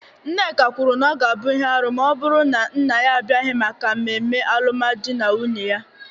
Nneka kwuru na ọ ga-abụ ihe arụ ma ọ bụrụ na nna ya abịaghị maka ememe alụmdi na nwunye ya,